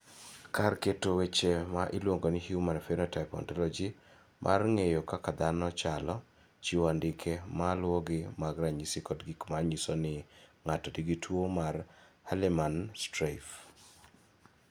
Kar keto weche ma iluongo ni Human Phenotype Ontology mar ng�eyo kaka dhano chalo, chiwo andike ma luwogi mag ranyisi kod gik ma nyiso ni ng�ato nigi tuo mar Hallermann Streiff.